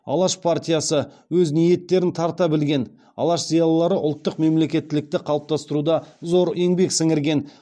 алаш партиясы өз ниеттерін тарта білген алаш зиялылары ұлттық мемлекеттілікті қалыптастыруда зор еңбек сіңірген